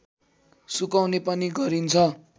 सुकाउने पनि गरिन्छ